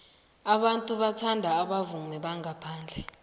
abantu bathanda abavumi bangaphandle